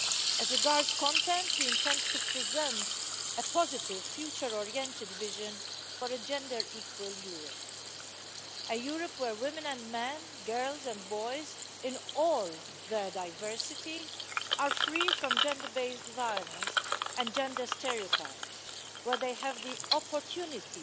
As regards content, we intend to present a positive future oriented vision for a gender equal Europe a Europe where women and men, girls and boys, in all their diversity, are free from gender based violence and gender stereotypes, where they have the opportunity